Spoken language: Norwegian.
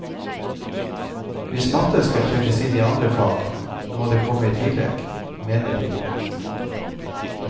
Hvis matte skal trekkes inn i andre fag, må det komme i tillegg, mener de.